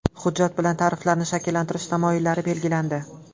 Hujjat bilan tariflarni shakllantirish tamoyillari belgilandi.